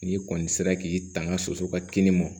N'i kɔni sera k'i tanga soso ka kini mɔ